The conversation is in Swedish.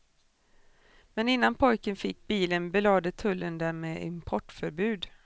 Men innan pojken fick bilen belade tullen den med importförbud.